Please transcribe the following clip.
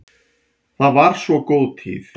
Það var svo góð tíð.